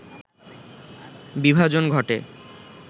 বিভাজন ঘটে